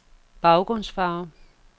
baggrundsfarve